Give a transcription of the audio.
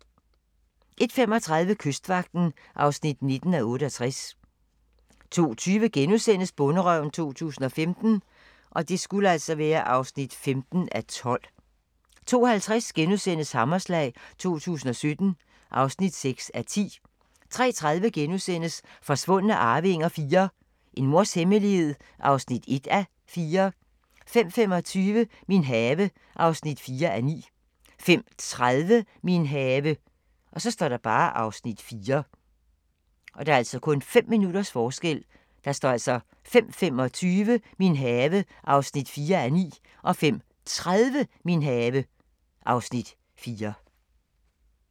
01:35: Kystvagten (19:68) 02:20: Bonderøven 2015 (15:12)* 02:50: Hammerslag 2017 (6:10)* 03:30: Forsvundne arvinger IV - En mors hemmelighed (1:4)* 05:25: Min have (4:9) 05:30: Min have (Afs. 4)